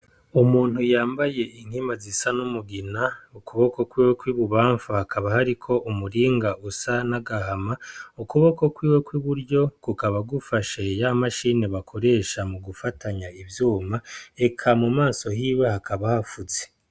Umuntu yambaye inkima zisa n'umugina, ukuboko kwiwe kw'ibubamfu hakaba hariko umuringa usa n'agahama, ukuboko kwiwe kw'iburyo kukaba gufashe ya mashini bakoresha mu gufatanya ivyuma, eka mu maso hiwe hakaba hafutse.